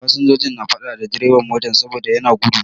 Fasinjoji na faɗa da bireban motar saboda yana gudu.